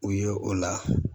U ye o la